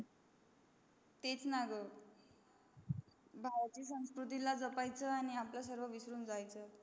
तेच न ग म्हणजे बाहेरचा संस्कृतीला जपायच आणि आपल्या संस्कृतीला विसरायच